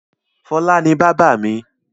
Fọlá ni bábà mi.